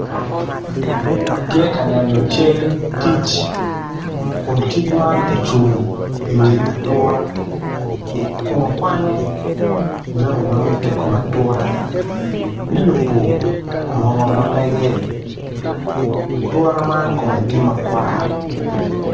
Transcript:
Atye ka neno cal kic kun kic man ocung i wi atura kun kwanyo jami mamite i kom atura me yubo mo mamege atura man kome tye makwar.